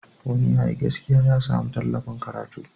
Wani da yayi gaskiya ya sami tallafin karatu.